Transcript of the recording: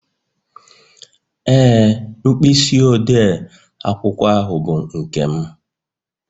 Ee, mkpịsị odee akwụkwọ ahụ bụ nke m